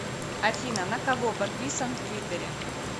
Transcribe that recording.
афина на кого подписан в твиттере